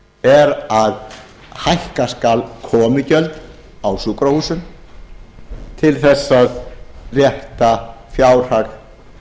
er að hækka skal komugjöld á sjúkrahúsum til þess að rétta fjárhag